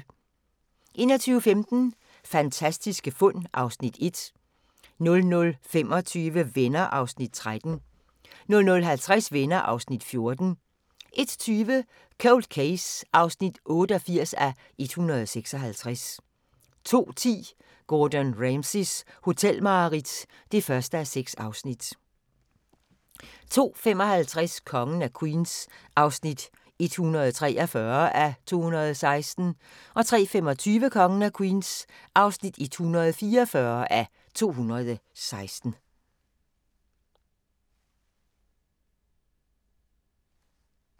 21:15: Fantastiske fund (Afs. 1) 00:25: Venner (13:235) 00:50: Venner (14:235) 01:20: Cold Case (88:156) 02:10: Gordon Ramsays hotelmareridt (1:6) 02:55: Kongen af Queens (143:216) 03:25: Kongen af Queens (144:216)